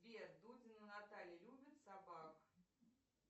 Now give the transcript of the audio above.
сбер дудина наталья любит собак